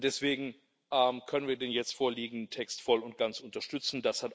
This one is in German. Und deswegen können wir den jetzt vorliegenden Text voll und ganz unterstützen.